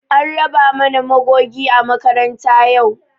An raba mana magogi a makaranta yau